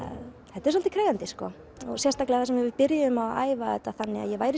þetta er svolítið krefjandi sko sérstaklega þar sem við byrjuðum að æfa þetta þannig að ég væri